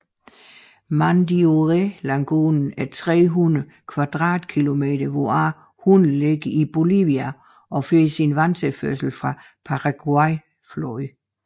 Mandiorélagunen er 300 kvadratkilometer hvoraf 100 ligger i Bolivia og får sin vandtilførsel fra Paraguayfloden